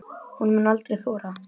Hún mundi aldrei þora.